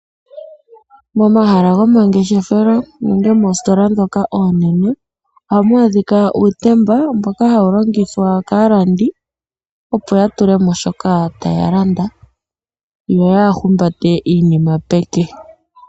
Momahala goma ngeshefelo nenge moostola ndhoka oonene, ohamu adhika uutemba mboka hawu longithwa kaalandi, opo ya tulemo shoka taya landa yo yaa humbate iinima peke.